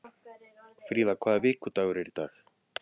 Fríða, hvaða vikudagur er í dag?